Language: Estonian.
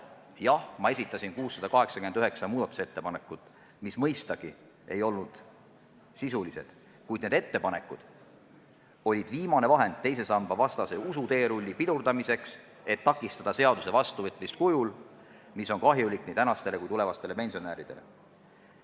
Jah, ma esitasin 689 muudatusettepanekut, mis mõistagi ei olnud sisulised, kuid need ettepanekud olid viimane vahend teise samba vastase usuteerulli pidurdamiseks, et takistada seaduse vastuvõtmist kujul, mis on kahjulik nii tänastele kui ka tulevastele pensionäridele.